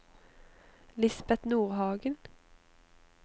Lisbet Nordhagen